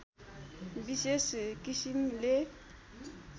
विशेष किसिमले